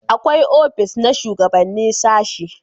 akwai ofis na shugabanni na sashi